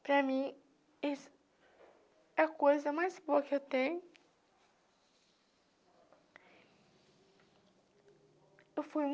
Para mim, isso é a coisa mais boa que eu tenho. Eu fui